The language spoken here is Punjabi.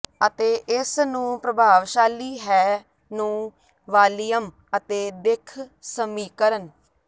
ਅਤੇ ਇਸ ਨੂੰ ਪ੍ਰਭਾਵਸ਼ਾਲੀ ਹੈ ਨੂੰ ਵਾਲੀਅਮ ਅਤੇ ਦਿੱਖ ਸਮੀਕਰਨ